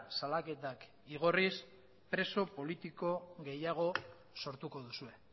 salaketak igorriz preso politiko gehiago sortuko duzue